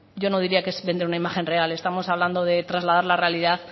yo no diría que es vender una imagen real estamos hablando de trasladar la realidad